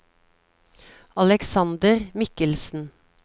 Alexander Mikkelsen